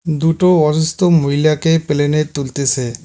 দুটো অসুস্থ মহিলাকে প্লেনে তুলতেসে।